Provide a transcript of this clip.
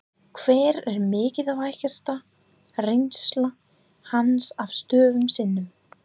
Hver er mikilvægasta reynsla hans af störfum sínum?